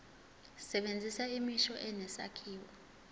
sebenzisa imisho enesakhiwo